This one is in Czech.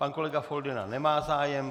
Pan kolega Foldyna nemá zájem.